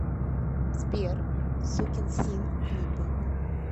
сбер сукинсин клипы